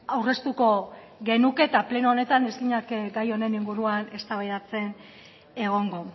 aurreztuko genuke eta pleno honetan ez ginateke gai honen inguruan eztabaidatzen egongo